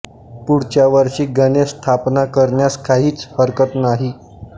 पुढच्या वर्षी गणेश स्थापना करण्यास काहिच हरकत नाही